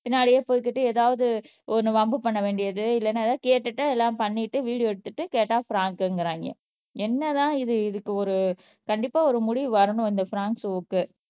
பின்னாடியே போய்கிட்டு ஏதாவது ஒண்ணு வம்பு பண்ண வேண்டியது இல்லன்னா ஏதாவது கேட்டுட்டு எல்லாம் பண்ணிட்டு வீடியோ எடுத்துட்டு கேட்டா ஃபிராங்க்ங்குறாங்க என்னதான் இது இதுக்கு ஒரு கண்டிப்பா ஒரு முடிவு வரணும் இந்த பிராங்க் ஷோக்கு